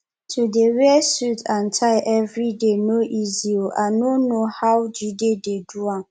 to dey wear suit and tie everyday no easy oo i no know how jide dey do am